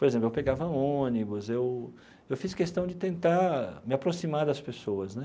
Por exemplo, eu pegava ônibus, eu eu fiz questão de tentar me aproximar das pessoas, né?